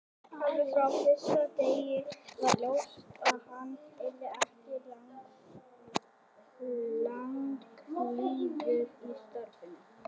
Alveg frá fyrsta degi var ljóst að hann yrði ekki langlífur í starfinu.